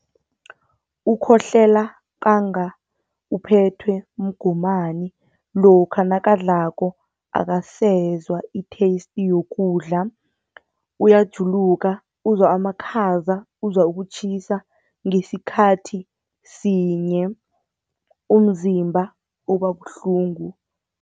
Ukhohlela kwanga uphethwe mgomani, lokha nakadlako akasezwa i-taste yokudla, uyajuluka, uzwa amakhaza uzwa ukutjhisa ngesikhathi sinye, umzimba uba buhlungu.